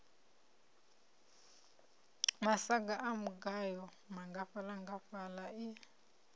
masaga a mugayo nngafhaḽangafhaḽa i